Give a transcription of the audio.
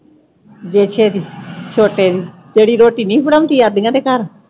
ਬੇਸ਼ੇ ਦੀ , ਛੋਟੇ ਦੀ। ਤੇਰੀ ਰੋਟੀ ਨਹੀਂ ਬਣਾਉਦੀ ਦੇ ਘਰ।